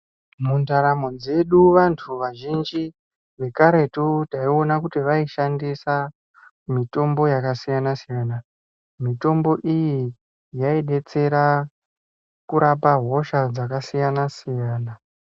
Mundaramo dzedu vanthu vazhinji, vekaretu, tayiwona kuti vayishandisa mitombo yakasiyana siyana. Mitombo iyi, yayidetsera kurapa hosha dzakasiyana siyana.